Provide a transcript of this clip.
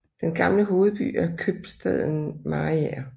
Den gamle hovedby er købstaden Mariager